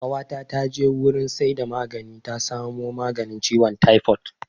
Ƙawata ta je wurin saida magani ta samo maganin ciwon taifod